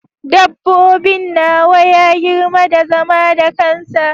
Dabbobin nawa ya girma da zama da kansa.